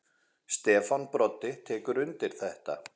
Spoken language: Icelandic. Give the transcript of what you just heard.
Stefán Broddi tekur undir þetta.